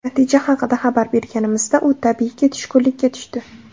Natija haqida xabar berganimizda, u, tabiiyki tushkunlikka tushdi.